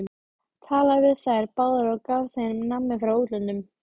Talaði við þær báðar og gaf þeim nammi frá útlöndum!